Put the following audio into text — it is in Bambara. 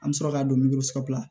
An bɛ sɔrɔ k'a don la